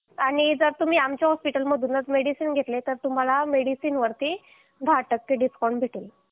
आणि जर तुम्ही आमच्या हॉस्पिटलमधूनच मेडिसिन घेतले तर तुम्हाला मेडिसिन वरती दहा टक्के डिस्काउंट भेटेल